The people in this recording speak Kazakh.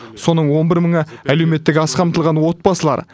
соның он бір мыңы әлеуметтік аз қамтылған отбасылар